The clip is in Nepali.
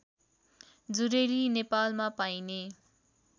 जुरेली नेपालमा पाइने